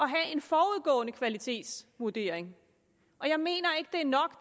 have en forudgående kvalitetsvurdering jeg mener ikke det er nok